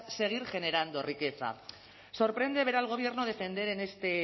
seguir generando riqueza sorprende ver al gobierno defender en este